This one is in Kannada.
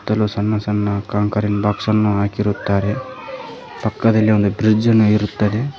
ಹತ್ತಲು ಸಣ್ಣ ಸಣ್ಣ ಕಾಂಕರಿನ ಬಾಕ್ಸ ಅನ್ನು ಹಾಕಿರುತ್ತಾರೆ ಪಕ್ಕದಲ್ಲಿ ಒಂದು ಬ್ರಿಜ್ ಅನ್ನು ಇರುತ್ತದೆ.